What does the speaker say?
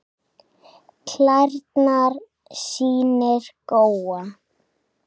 Klærnar sýnir Góa.